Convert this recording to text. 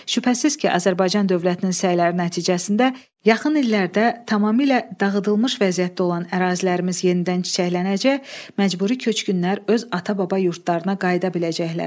Şübhəsiz ki, Azərbaycan dövlətinin səyləri nəticəsində yaxın illərdə tamamilə dağıdılmış vəziyyətdə olan ərazilərimiz yenidən çiçəklənəcək, məcburi köçkünlər öz ata-baba yurdlarına qayıda biləcəklər.